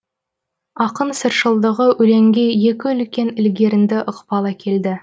ақын сыршылдығы өлеңге екі үлкен ілгерінді ықпал әкелді